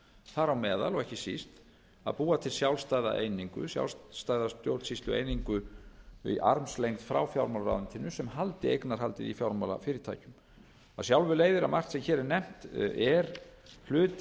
þar á meðal og ekki síst að búa til sjálfstæða einingu sjálfstæða stjórnsýslueiningu í armslengd frá fjármálaráðuneytinu sem haldi eignarhaldið í fjármálafyrirtækjum af sjálfu leiðir að margt sem hér er nefnt er hluti